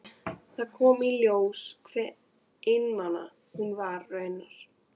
Þá kom í ljós hve einmana hún raunar var.